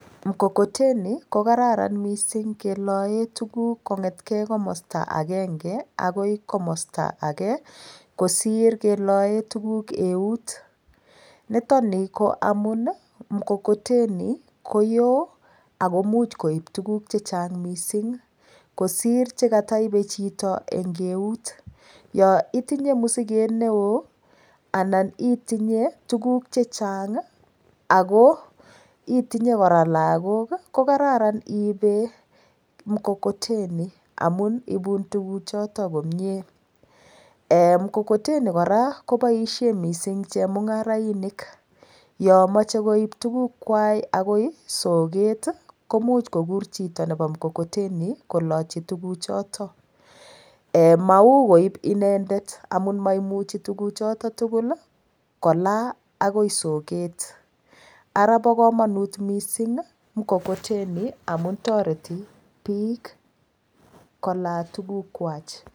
Mkokoteni ko kararan mising' keloe tuguk kong'etkei komosta agenge akoi komosta age kosir keloe tuguk eut nitoni ko amun mkokoteni koyo akomuch koib tuguk chechang' mising' kosir chekataibei chito eng' eut yo itinye mosiket neo anan itinye tuguk chechang' ako itinye kora lagok kokararan iibe mkokoteni amun ibun tuguchoto komyee mkokoteni kora koboishe mising' chemung'arainik yo mochei koib tukukwach akoi soket komuch kokur chito nebo mkokoteni kolochi tuguchoto mau koib inendet amun maimuchi tuguchoto tugul kola akoi soket ara bo komonut mising' mkokoteni amun toreti biik kola tugukwach